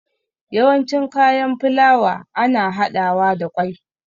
Yawanci kayan filawa ana haɗawa da ƙwai